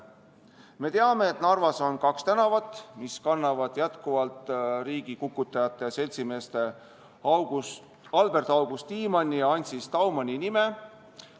Me teame, et Narvas on kaks tänavat, mis jätkuvalt kannavad riigikukutajate, seltsimeeste Albert-August Tiimanni ja Ancis Daumani nime.